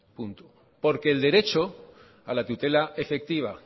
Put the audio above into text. el derecho a la tutela efectiva